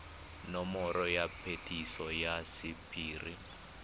nomoro ya phetiso ya sephiri